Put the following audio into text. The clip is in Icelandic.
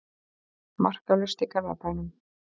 Markalaust í Garðabænum